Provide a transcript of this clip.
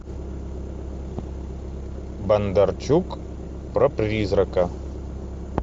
бондарчук про призрака